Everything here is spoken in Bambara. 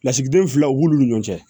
Lasigiden filaw b'olu ni ɲɔgɔn cɛ